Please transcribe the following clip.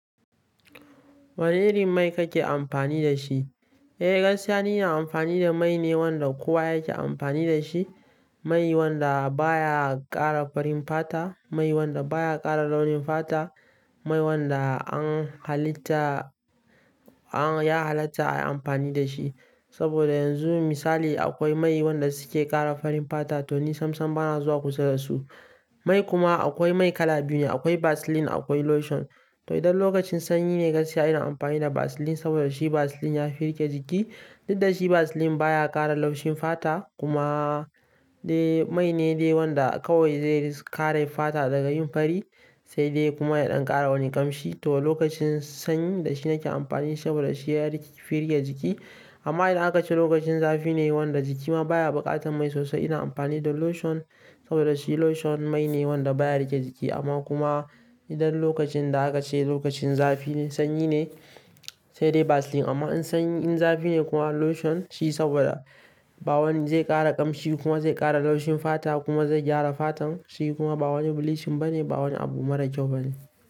Wane irin mai kake amfani da shi? Eh, gaskiya ni ina amfani da mai ne wanda kowa yake amfani da shi. Mai wanda baya ƙara farin fata, mai wanda baya ƙara launin fata, mai wanda an halitta, an, ya halatta ai amfani da shi. Saboda yanzu misali akwai mai wanda suke ƙara farin fata to ni sam sam bana zuwa kusa da su. Mai kuma akwai mai kala biyu ne, akwai Vaseline akwai lotion. To idan lokacin sanyi ne gaskiya ina amfani da Vaseline saboda shi Vaseline yafi rike jiki. Dik da shi Vaseline baya ƙara laushin fata kuma de mai ne wanda kawai zai kare fata daga yin fari sai dai kuma ya ɗan ƙara wani ƙamshi. To lokacin sanyi da shi nake amfani saboda shi yafi rike jiki. Amma idan akace lokacin zafi ne wanda jiki ma baya buƙatar mai sosai, ina amfani da lotion saboda shi lotion mai ne wanda baya rike jiki amma kuma idan lokacin da akace lokacin zafi ne, sanyi ne sai dai Vaseline. Amma in zafi ne kuma lotion shi saboda ba wani zai ƙara ƙamshi kuma zai ƙara laushin fata kuma zai gyara fatan shi kuma ba wani bleaching bane, ba wani abu mara kyau bane.